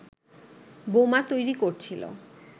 বোমা তৈরি করছিল